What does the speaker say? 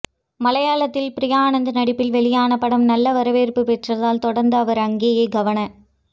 மலையாளத்தில் பிரியா ஆனந்த் நடிப்பில் வெளியான படம் நல்ல வரவேற்பு பெற்றதால் தொடர்ந்து அவர் அங்கேயே கவன